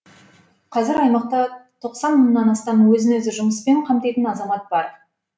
қазір аймақта тоқсан мыңнан астам өзін өзі жұмыспен қамтитын азамат бар